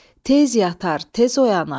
Tez yatar, tez oyanar.